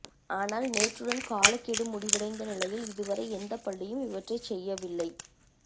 ஆனால் நேற்றுடன் காலக் கெடு முடிவடைந்த நிலையில் இதுவரை எந்தப் பள்ளியும் இவற்றைச்செய்யவில்லை